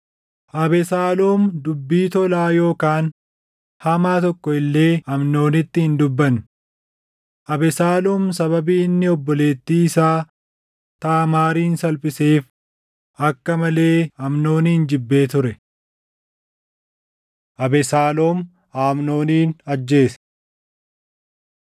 Abesaaloom dubbii tolaa yookaan hamaa tokko illee Amnoonitti hin dubbanne; Abesaaloom sababii inni obboleettii isaa Taamaarin salphiseef akka malee Amnoonin jibbee ture. Abesaaloom Amnoonin Ajjeese